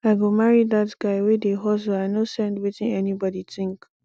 i go marry dat guy wey dey hustle i no send wetin anybodi tink